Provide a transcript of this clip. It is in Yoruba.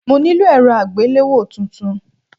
Mo nílò èrọ àgbéléwò tuntun.